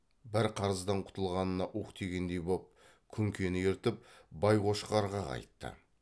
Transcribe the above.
бір қарыздан құтылғанына уһ дегендей боп күнкені ертіп байқошқарға қайтты